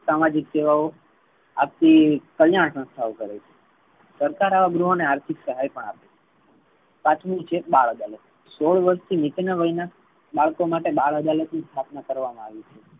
સામાજિક કેળવો આર્થિક કલ્યાણ સંસ્થાઓ કરે છે. સરકાર આવા ગૃહ ને આર્થિક સહાય પણ આપે છે. પાંચમુ છે. બાળ અદાલત સોળ વર્ષ થી નીચે ના વય ના બાળકો માટે બાળ અદાલત ની સ્થાપના કરવામા આવી છે.